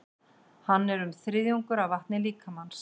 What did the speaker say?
Hann er um þriðjungur af vatni líkamans.